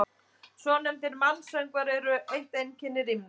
Svonefndir mansöngvar eru eitt einkenni rímna.